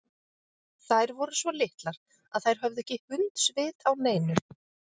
Þær voru svo litlar að þær höfðu ekki hundsvit á neinu.